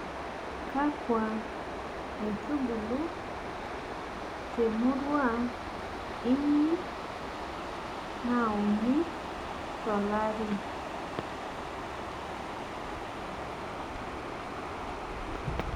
she has read the qestion instead of answering